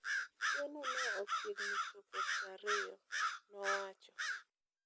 kweno no ochiegni chopo prariyo', nowacho